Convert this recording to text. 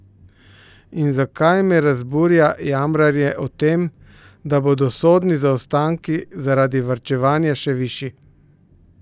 In zakaj me razburja jamranje o tem, da bodo sodni zaostanki zaradi varčevanja še višji?